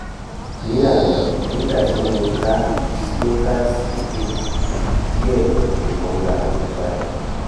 ní àná nígbà tí mo ka slokas sókè díẹ̀ ìrora mi padà